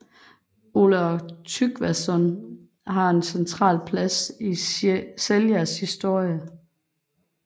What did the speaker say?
Olav Tryggvason har en central plads i Seljas historie